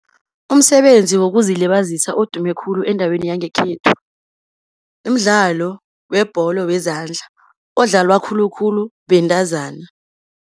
Umsebenzi wokuzilibazisa odume khulu endaweni yangekhethu, mdlalo webholo wezandla, odlalwa khulukhulu bentazana.